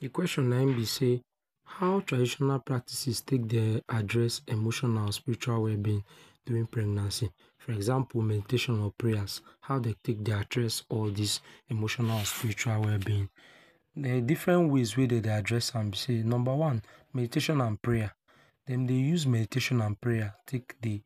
De question na im be sey how traditional practices take de address emotional and spiritual well being during pregnancy. For example meditation and prayers, how e take dey take dey address all these emotional and spiritual well being. Na in different ways dey address am be sey Number one, meditation and prayer, dem dey use meditation and prayer take dey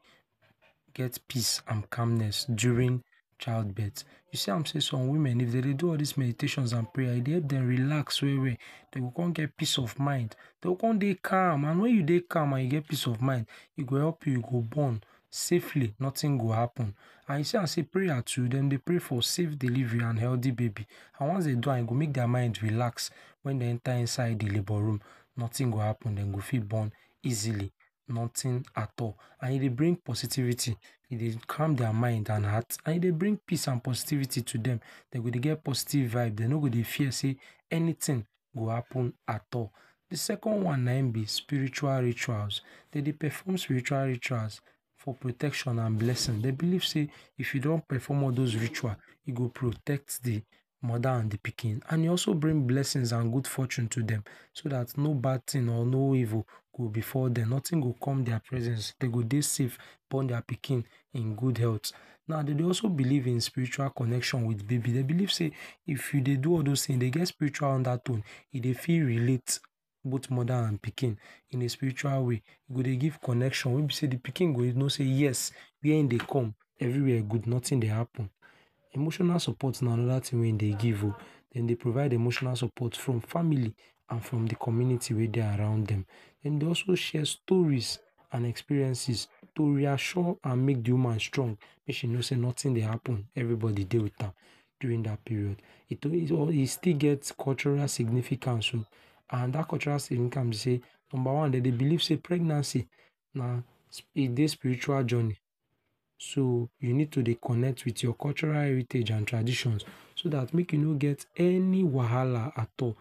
get peace and calmness during childbirth. you see am sey some women if dem dey do all theses meditation and prayers, e dey dem relax well well, dey go come get peace of mind, dey go come dey calm and when you dey calm and you get peace of mind e help you, e go born safely nothing go happen and e see am sey prayer too dem dey pray for safe deliver and healthy baby. An once dem do am e go make their mind relaxed. When dey enter inside de Labour room, nothing go happen dem go fit born easily. Nothing at all and e dey bring positivity. E dey calm their minds and heart and e dey bring peace and positivity to dem. Dem go dey get positive vibes dem no go dey feel sey, anything go happen at all. De second one na im be spiritual rituals. Dey dey perform spiritual rituals for protection and blessings. Dey believe sey if you don perform all those ritual e go protect de mother and pikin and e also bring blessings and good fortune to dem so that no bad thing or no evil go befall dem. Nothing go come their presence, dem go dey safe born their pikin in good health. Now dey dey also believe in spiritual connection with baby. Dey believe sey if e dey do all those things, e get spiritual undertone. E dey fit relate both mother and pikin in a spiritual way. E dey give connection wey be sey dem pikin go know sey yes, wey im dey come everywhere good nothing dey happen. Emotional support na another wey dey give um. Dem dey provide emotional support from family and from de community we dey around dem. Dem dey also share stories and experiences to reassure and make de woman strong make she know sey nothing dey happen, everybody dey with am during that period. e still get cultural significance oh and that cultural significance be sey, number one; Dem dey believe sey pregnancy na, e dey spiritual journey, so e need to dey connect with your cultural heritage and traditions so that make e no get any wahala at all.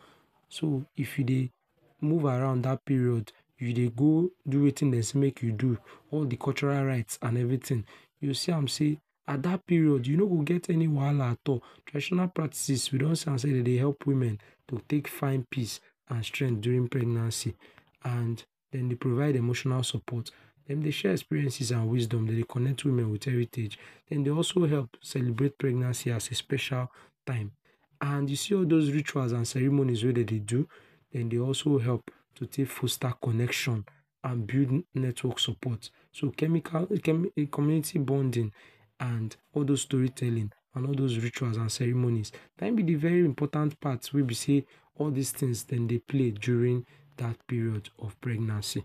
So, if e dey move around that period you dey go do wetin dem say make you do. All de cultural rites and everything, you go see am sey at that period you no go get any wahala at all. Traditional practices we don see am sey dem dey help women to take find peace and strength during pregnancy. And dem dey provide emotional support, dem dey share experiences and wisdom. Dem dey connect women with heritage, dem dey also help celebrate pregnancy as a special time and you see all those rituals and ceremonies wey dem dey do, dem dey also help to take forster connection and build network support. So chemical, comm community bonding and all those story telling and all those rituals and ceremonies na im be de very important part wey be sey all these things dem dey play during that period of pregnancy.